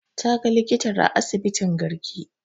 Ta ga likitar a asibitin garki